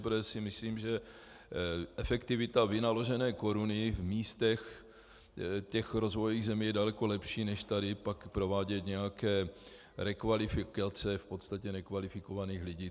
Protože si myslím, že efektivita vynaložené koruny v místech těch rozvojových zemí je daleko lepší než tady pak provádět nějaké rekvalifikace v podstatě nekvalifikovaných lidí.